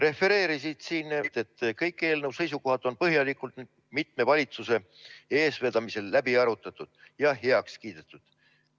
Refereerisid siin, et kõik eelnõu seisukohad on põhjalikult mitme valitsuse eestvedamisel läbi arutatud ja heaks kiidetud.